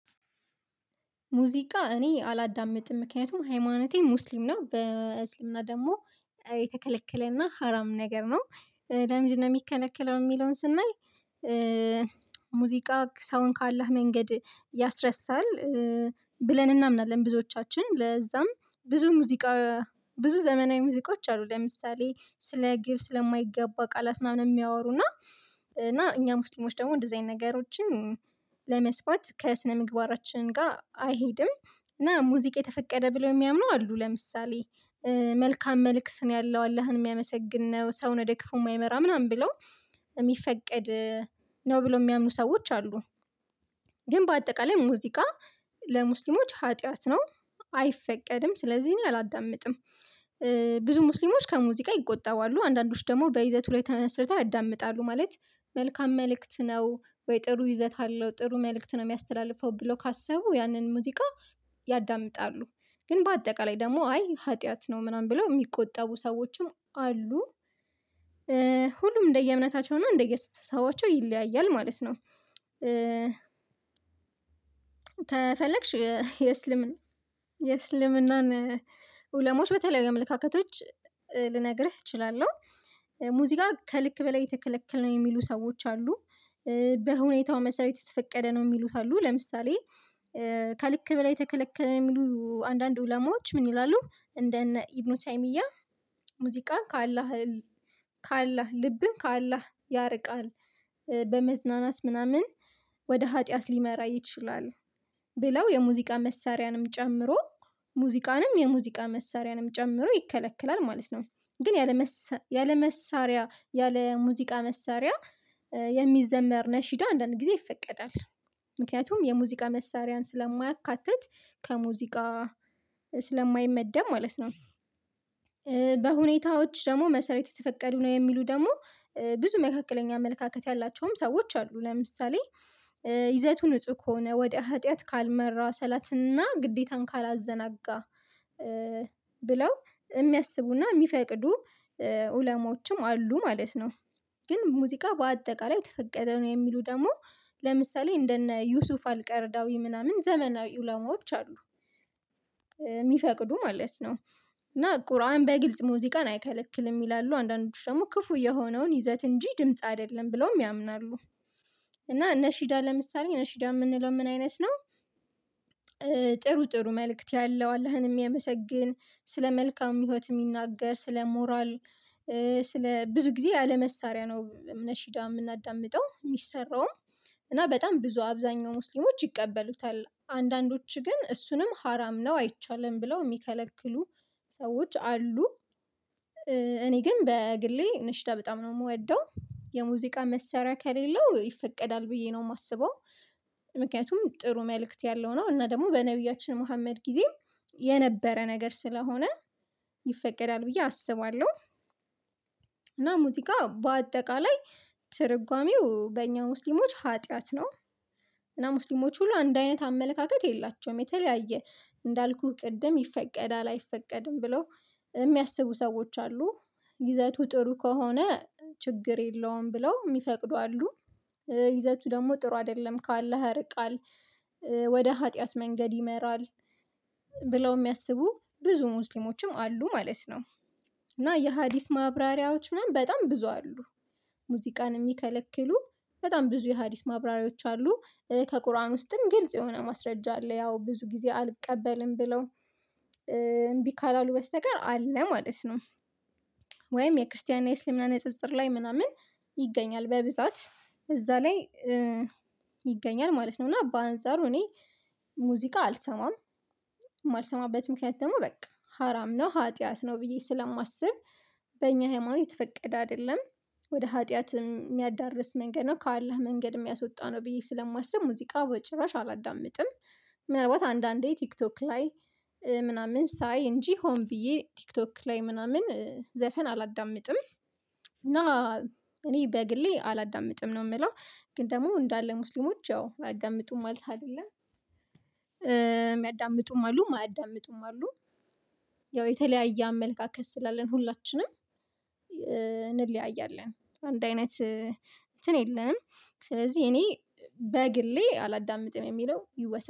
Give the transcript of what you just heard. ሙዚቃ እኔ አላዳምጥም ምክንያቱም ሃይማኖቴ ሙስሊምና በእስልምና ደግሞ የተከለከለና ሀራም ነገር ነው። ለምንድነው የሚከለክለው የሚለውን ስናይ ሙዚቃ ሰውን ካአለህ መንገድ ያስረሳል ብለን እናምናለን ብዙዎቻችን ለዛም ብዙ ሙዚቃ ብዙ ዘመናዊ ሙዚቃዎች አሉ ለምሳሌ ስለ ግብ ስለማይገባ ቃላት ምናምን የሚያወሩ እና እኛ ሙስሊሞች ደግሞ እንደዚህ አይነት ነገሮችን ለመስፋት ከስነ ምግባራችን ጋር አይሄድም። እና ሙዚቃ የተፈቀደ ብለው የሚያምነው አሉ ለምሳሌ መልካም መልእክት ነው ያለው አለህን የሚያመሰግን ነው ሰውን ወደክፉ የማይመራ ምናምን ብለው የሚፈቀድ ነው ብለው የሚያምኑ ሰዎች አሉ። ግን በአጠቃላይ ሙዚቃ ለሙስሊሞች ኃጢአት ነው አይፈቀድም ስለዚህ እኔ አላዳምጥም። ብዙ ሙስሊሞች ከሙዚቃ ይቆጠባሉ አንዳንዶች ደግሞ በይዘቱ ላይ ተመስርተው ያዳምጣሉ ማለት መልካም መልእክት ነው ወይ ጥሩ ይዘታለው ጥሩ መልእክት ነው የሚያስተላልፈው ብለው ካሰቡ ያንን ሙዚቃ ያዳምጣሉ ግን በአጠቃላይ ደግሞ አይ ኃጢአት ነው ምናምን ብለው የሚቆጠቡ ሰዎችም አሉ። ሁሉም እንደየእምነታቸውና እንደየአስተሳሰባቸው ይለያያል ማለት ነው። ከፈለግሽ የእስልምና የእስልምናን ኡለሞች በተለያዩ አመለካከቶች ልነግርህ እችላለሁ። ሙዚቃ ከልክ በላይ የተከለከልን ነው የሚሉ ሰዎች አሉ። በሁኔታው መሰረት የተፈቀደ ነው የሚሉት አሉ ለምሳሌ ከልክ በላይ ተከለከለ የሚሉ አንዳንድ ኡለማዎች ምን ይላሉ? እንደነ ኢብኑተይሚያ ሙዚቃ ከአላህ ከአላህ ልብን ከአላህ ያርቃል በመዝናናት ምናምን ወደ ኃጢአት ሊመራ ይችላል ብለው የሙዚቃ መሳሪያንም ጨምሮ ሙዚቃንም የሙዚቃ መሳሪያንም ጨምሮ ይከለክላል ማለት ነው። ግን ያለ መሳሪያ ያለ ሙዚቃ መሳሪያ የሚዘመር ነሽዳ አንዳንድ ጊዜ ይፈቀዳል ምክንያቱም የሙዚቃ መሳሪያን ስለማያካትት ከሙዚቃ ስለማይመደብ ማለት ነው። በሁኔታዎች ደግሞ መሰረት የተፈቀዱ ነው የሚሉ ደግሞ ብዙ መካከለኛ አመለካከት ያላቸውም ሰዎች አሉ ለምሳሌ ይዘቱ ንጹህ ከሆነ ወደ ሀጥያት ካልመራ ሰላትና ግዴታን ካላዘናጋ ብለው የሚያስቡና የሚፈቅዱ ኡለሞችም አሉ። ማለት ነው ግን ሙዚቃ በአጠቃላይ ተፈቀደ ነው የሚሉ ደግሞ ለምሳሌ እንደነ ዩሱፍ አልቀርዳዊ ምናምን ዘመናዊ ኡለሞች አሉ። የሚፈቅዱ ማለት ነው እና ቁርአን በግልጽ ሙዚቃን አይከለክልም ይላሉ አንዳንዶቹ ደግሞ ክፉ የሆነውን ይዘት እንጂ ድምጽ አይደለም ብለውም ያምናሉ። እና ነሺዳ ለምሳሌ ነሺዳ ምንለው ምን አይነት ነው? ጥሩ ጥሩ መልእክት ያለው አላህን ሚያመሰግን ስለ መልካም ህይወት የሚናገር ስለ ሞራል ስለ ብዙ ጊዜ አለመሳሪያ ነው ነሽዳ ምናዳምጠው ሚሰራውም እና በጣም ብዙ አብዛኛው ሙስሊሞች ይቀበሉታል አንዳንዶቹ ግን እሱንም ሀራም ነው አይቻልም ብለው ሚከለክሉ ሰዎች አሉ። እኔ ግን በግሌ ነሽዳ በጣም ነው ምወደው የሙዚቃ መሳሪያ ከሌለው ይፈቀዳል ብዬ ነው ማስበው ምክንያቱም ጥሩ መልእክት ያለው ነው እና ደግሞ በነብያችን መሀመድ ጊዜ የነበረ ነገር ስለሆነ ይፈቀዳል ብዬ አስባለሁ። እና ሙዚቃ በአጠቃላይ ትርጓሜው በእኛ ሙስሊሞች ኃጢአት ነው። እና ሙስሊሞች ሁሉ አንድ አይነት አመለካከት የላቸውም የተለያየ እንዳልኩህ ቅድም ይፈቀዳል አይፈቀድም ብለው የሚያስቡ ሰዎች አሉ። ይዘቱ ጥሩ ከሆነ ችግር የለውም ብለው ሚፈቅዱ አሉ። ይዘቱ ደግሞ ጥሩ አደለም ካኣለህ ያርቃል ወደ ኃጢአት መንገድ ይመራል ብለው ሚያስቡ ብዙ ሙስሊሞችም አሉ ማለት ነው። እና የሀዲስ ማብራሪያዎች ምናምን በጣም ብዙ አሉ ሙዚቃን ሚከለክሉ በጣም ብዙ የሀዲስ ማብራሪያዎች አሉ ከቁርአን ውስጥም ግልጽ የሆነ ማስረጃ አለ ያው ብዙ ጊዜ አልቀበልም ብለው እምቢ ካላሉ በስተቀር አለ ማለት ነው። ወይም የክርስትና የእስልምና ንጽጽር ላይ ምናምን ይገኛል በብዛት እዛ ላይ ይገኛል ማለት ነው። እና በአንጻሩ እኔ ሙዚቃ አልሰማም። ማልሰማበት ምክንያት ደግሞ በቃ ሀራም ነው ሀጥያት ነው ብዬ ስለማስብ በእኛ ሃይማኖት የተፈቀደ አደለም። ወደ ሀጥያት የሚያዳርስ መንገድ ነው ከአላህ መንገድ ሚያስወጣ ነው ብዬ ስለማስብ ሙዚቃ በጭራሽ አላዳምጥም። ምናልባት አንዳንዴ ቲክቶክ ላይ ምናምን ሳይ እንጂ ሆን ብዬ ቲክቶክ ላይ ምናምን ዘፈን አላዳምጥም። እና እኔ በግሌ አላዳምጥም ነው ምለው ግን ደግሞ እንዳለ ሙስሊሞች ያው አያዳምጡም ማለት አይደለም ሚያዳምጡም አሉ ማያዳምጡም አሉ። ያው የተለያየ አመለካከት ስላለን ሁላችንም እንለያያለን አንድ አይነት እንትን የለንም። ስለዚህ እኔ በግሌ አላዳምጥም የሚለው ይወሰን